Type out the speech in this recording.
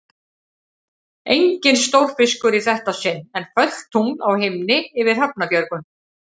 Enginn stórfiskur í þetta sinn, en fölt tungl á himni yfir Hrafnabjörgum.